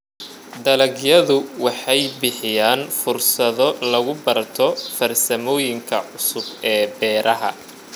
Dalagyadu waxay bixiyaan fursado lagu barto farsamooyinka cusub ee beeraha.